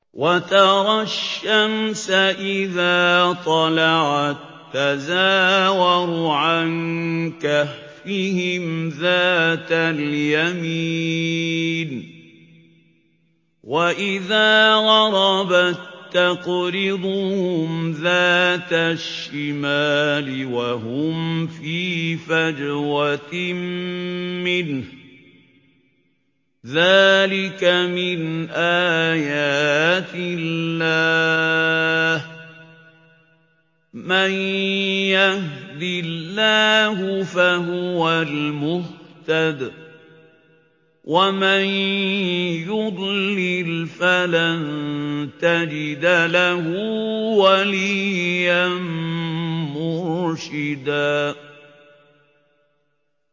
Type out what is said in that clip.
۞ وَتَرَى الشَّمْسَ إِذَا طَلَعَت تَّزَاوَرُ عَن كَهْفِهِمْ ذَاتَ الْيَمِينِ وَإِذَا غَرَبَت تَّقْرِضُهُمْ ذَاتَ الشِّمَالِ وَهُمْ فِي فَجْوَةٍ مِّنْهُ ۚ ذَٰلِكَ مِنْ آيَاتِ اللَّهِ ۗ مَن يَهْدِ اللَّهُ فَهُوَ الْمُهْتَدِ ۖ وَمَن يُضْلِلْ فَلَن تَجِدَ لَهُ وَلِيًّا مُّرْشِدًا